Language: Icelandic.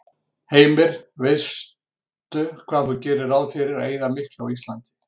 Heimir: Veistu hvað þú gerir ráð fyrir að eyða miklu á Íslandi?